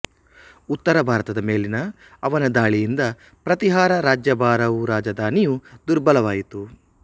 ಉತ್ತರ ಭಾರತದ ಮೇಲಿನ ಅವನ ಧಾಳಿಯಿಂದ ಪ್ರತಿಹಾರ ರಾಜ್ಯಭಾರವುರಾಜಧಾನಿಯು ದುರ್ಬಲವಾಯಿತು